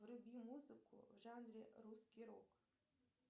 вруби музыку в жанре русский рок